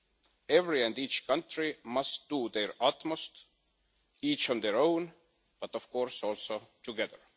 Each and every country must do their utmost, each on their own, but of course also together.